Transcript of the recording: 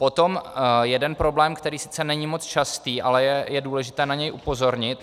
Potom jeden problém, který sice není moc častý, ale je důležité na něj upozornit.